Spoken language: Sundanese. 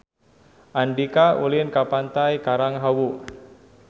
Andika ulin ka Pantai Karang Hawu